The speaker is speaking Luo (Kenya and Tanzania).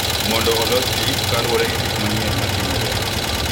Mondo olos ting’ kaluwore gi gik manyien ma timore,